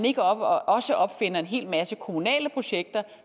ikke også opfinder en hel masse kommunale projekter